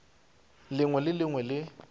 lengwe le le lengwe le